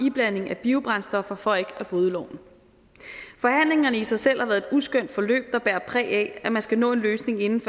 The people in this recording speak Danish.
iblanding af biobrændstoffer for ikke at bryde loven forhandlingerne har i sig selv været et uskønt forløb der bærer præg af at man skal nå en løsning inden